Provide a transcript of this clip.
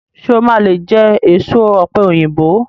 Ṣé o máa lé jẹ èso ọ̀pẹ̀yìnbo?